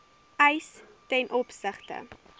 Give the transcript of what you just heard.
eis ten opsigte